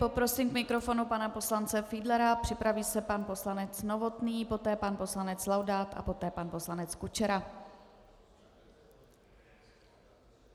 Poprosím k mikrofonu pana poslance Fiedlera, připraví se pan poslanec Novotný, poté pan poslanec Laudát a poté pan poslanec Kučera.